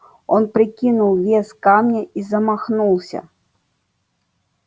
он прикинул вес камня и замахнулся